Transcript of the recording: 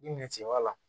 I ɲɛ cɛbɔ la